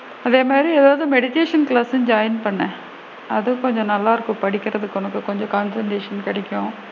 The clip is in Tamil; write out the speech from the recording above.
அதே மாதிரி ஏதாவது meditation class சும் join பண்ணு அதுவும் கொஞ்சம் நல்லா இருக்கும் படிக்கிறதுக்கு உனக்கு கொஞ்சம் concentration கிடைக்கும்.